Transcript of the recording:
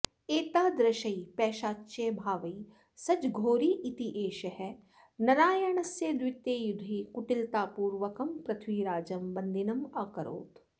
एतादृशैः पैशाच्यभावैः सज्जः घोरी इत्येषः नरायनस्य द्वितीये युद्धे कूटिलतापूर्वकं पृथ्वीराजं बन्दिनम् अकरोत्